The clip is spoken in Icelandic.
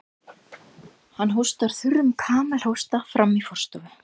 Hann hóstar þurrum kamelhósta frammí forstofu.